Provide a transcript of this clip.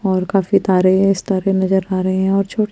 और काफी तारे है स्ताफी नज़र आरे है और छो--